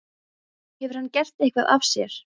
Hefur hann gert eitthvað af sér?